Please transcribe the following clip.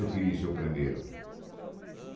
Eu queria ser o primeiro.